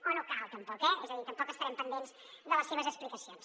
o no cal tampoc eh és a dir tampoc estarem pendents de les seves explicacions